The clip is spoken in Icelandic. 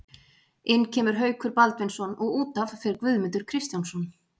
Inn kemur Haukur Baldvinsson og útaf fer Guðmundur Kristjánsson.